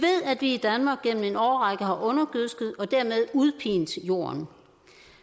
i danmark gennem en årrække har undergødsket og dermed udpint jorden